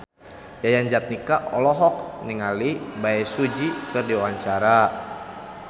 Yayan Jatnika olohok ningali Bae Su Ji keur diwawancara